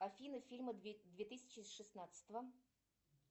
афина фильмы две тысячи шестнадцатого